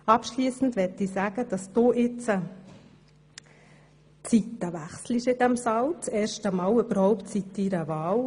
Abschliessend möchte ich sagen, dass du jetzt, erstmals seit deiner Wahl, die Seiten wechselst in diesem Saal.